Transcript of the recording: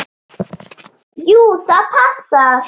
Jú, það passar.